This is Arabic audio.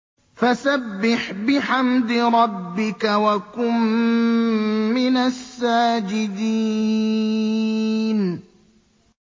فَسَبِّحْ بِحَمْدِ رَبِّكَ وَكُن مِّنَ السَّاجِدِينَ